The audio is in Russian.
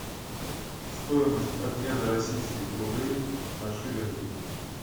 стоимость обмена российских рублей на шиллинги